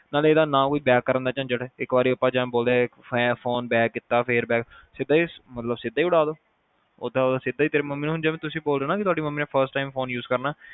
ਤੇ ਨਾਲੇ ਉਹਦਾ ਨਾ ਕੋਈ back ਕਰਨ ਦਾ ਝਿੱਜਟ ਜਿਵੇ ਆਪਾ ਬੋਲਦੇ ਫ਼ੋਨ back ਕੀਤਾ fearback ਮਤਲਬ ਸਿੱਧਾ ਉਡਾਦੋ ਓਦਾਂ ਸਿੱਧਾ ਈ ਤੇਰੀ ਮੰਮੀ ਜਿੰਦਾ ਤੁਸੀ ਬੋਲ ਰਹੇ ਨਾ ਤੁਹਾਡੀ ਮੰਮੀ ਨੇ first time phone use ਕਰਨਾ